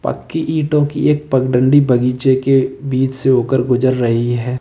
पक्की ईटों की एक पगडंडी बगीचे के बीच से होकर गुजर रही है।